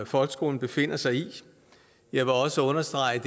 folkeskolen befinder sig i jeg vil også understrege